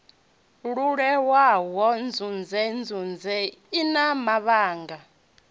leluwaho ndunzhendunzhe i na mavhaka